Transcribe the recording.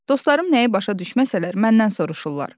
Dostlarım nəyi başa düşməsələr, məndən soruşurlar.